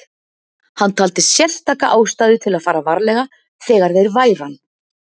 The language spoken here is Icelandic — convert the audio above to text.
Hann taldi sérstaka ástæðu til að fara varlega þegar þeir væru ann